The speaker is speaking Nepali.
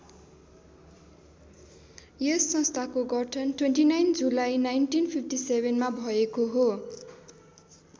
यस संस्थाको गठन २९ जुलाई १९५७ मा भएको हो।